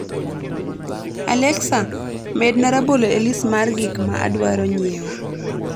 alexa, medna rabolo e list mar gik ma adwaro nyiewo